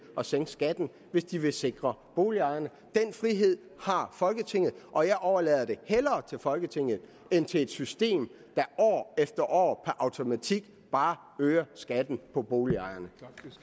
at sænke skatten hvis de vil sikre boligejerne den frihed har folketinget og jeg overlader det hellere til folketinget end til et system der år efter år automatik bare øger skatten for boligejerne